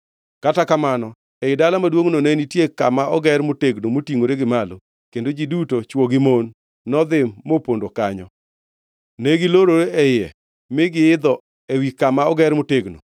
Kata kamano, ei dala maduongʼno, ne nitie kama oger motegno motingʼore gi malo, kendo ji duto, chwo gi mon nodhi mopondo kanyo. Ne gilorore e iye mi giidho ewi kama oger motegnono.